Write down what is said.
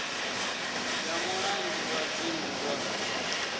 ya mulangi wa dzingu wa